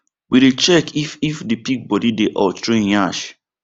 we dey check if if the pig body dey hot through en yansh